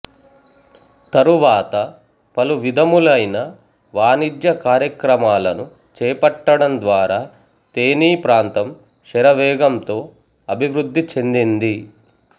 తరువాత పలువిధములైన వాణిజ్య కార్యక్రమాలను చేపట్టడం ద్వారా తేనీ ప్రాంతం శరవేగంతో అభివృద్ధి చెందింది